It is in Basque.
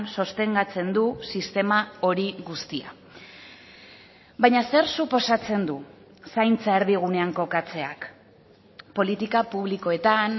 sostengatzen du sistema hori guztia baina zer suposatzen du zaintza erdigunean kokatzeak politika publikoetan